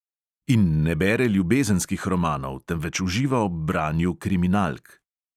In ne bere ljubezenskih romanov, temveč uživa ob branju kriminalk.